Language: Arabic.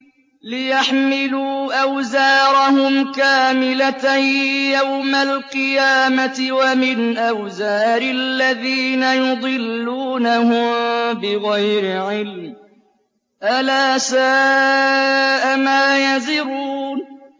لِيَحْمِلُوا أَوْزَارَهُمْ كَامِلَةً يَوْمَ الْقِيَامَةِ ۙ وَمِنْ أَوْزَارِ الَّذِينَ يُضِلُّونَهُم بِغَيْرِ عِلْمٍ ۗ أَلَا سَاءَ مَا يَزِرُونَ